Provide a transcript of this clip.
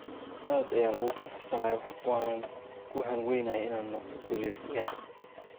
"Aad ayaan ugu faraxsanahay waanan ku hanweynahay inaan noqdo guuleystaha.